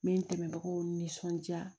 N bɛ n dɛmɛbagaw nisɔndiya